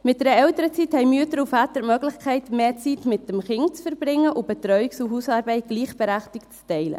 Mit einer Elternzeit haben Mütter und Väter die Möglichkeit, mehr Zeit mit dem Kind zu verbringen und die Betreuungs- und Hausarbeit gleichberechtigt zu teilen.